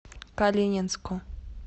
калининску